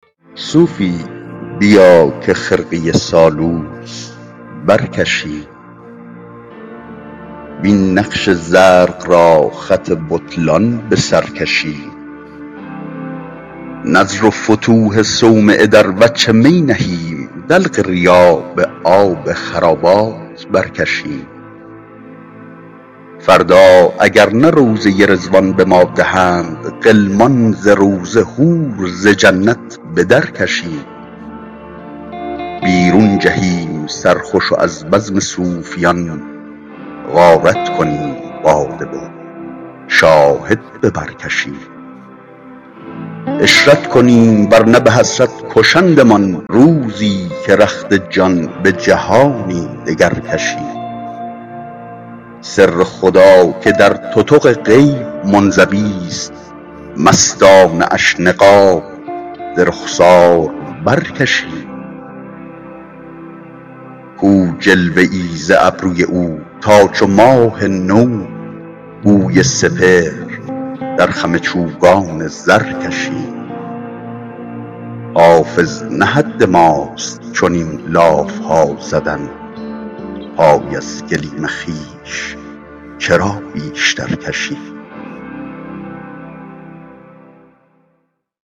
صوفی بیا که خرقه سالوس برکشیم وین نقش زرق را خط بطلان به سر کشیم نذر و فتوح صومعه در وجه می نهیم دلق ریا به آب خرابات برکشیم فردا اگر نه روضه رضوان به ما دهند غلمان ز روضه حور ز جنت به درکشیم بیرون جهیم سرخوش و از بزم صوفیان غارت کنیم باده و شاهد به بر کشیم عشرت کنیم ور نه به حسرت کشندمان روزی که رخت جان به جهانی دگر کشیم سر خدا که در تتق غیب منزویست مستانه اش نقاب ز رخسار برکشیم کو جلوه ای ز ابروی او تا چو ماه نو گوی سپهر در خم چوگان زر کشیم حافظ نه حد ماست چنین لاف ها زدن پای از گلیم خویش چرا بیشتر کشیم